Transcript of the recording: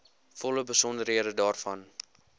volle besonderhede daarvan